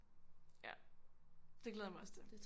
Ja det glæder jeg mig også til